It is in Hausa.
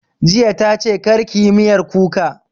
Jiya ta ce 'Kar ki yi miyar kuka'